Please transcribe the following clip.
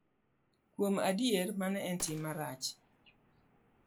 Kuom adier, mano en tim marach.